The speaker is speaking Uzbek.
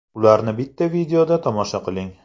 Ularni bitta videoda tomosha qiling !